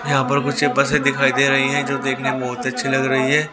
यहाँ पर कुछ बसे दिखाई दे रहीं हैं जो देखने बहुत अच्छी लग रहीं हैं।